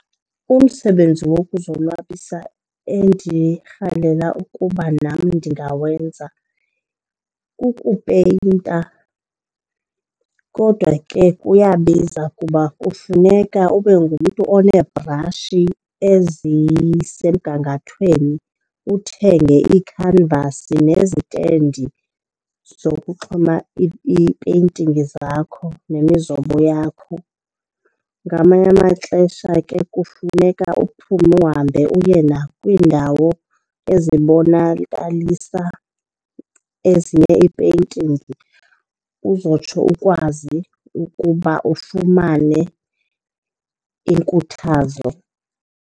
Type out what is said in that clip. Umsebenzi wokuzonwabisa endirhalela ukuba nam ndingawenza kukupeyinta kodwa ke kuyabiza kuba kufuneka ube ngumntu oneebrashi ezisemgangathweni, uthenge ii-canvas nezitendi zokuxhoma ii-painting zakho nemizobo yakho. Ngamanye amaxesha ke kufuneka uphume uhambe uye nakwiindawo ezibonakalisa ezinye ii-paintings uzotsho ukwazi ukuba ufumane inkuthazo.